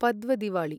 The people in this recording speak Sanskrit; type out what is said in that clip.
पद्व दिवाळी